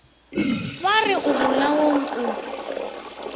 ba re o bolaong o